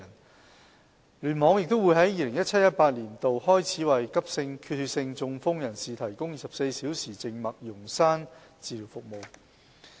九龍東聯網亦會在 2017-2018 年度開始為急性缺血性中風人士提供24小時靜脈溶栓治療服務。